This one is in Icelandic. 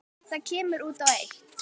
Það kemur út á eitt.